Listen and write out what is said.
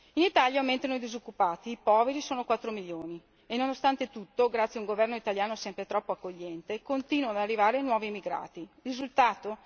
In Italia aumentano i disoccupati, i poveri sono 4 milioni e nonostante tutto, grazie a un governo italiano sempre troppo accogliente, continuano ad arrivare nuovi emigrati. Quale sarà il risultato?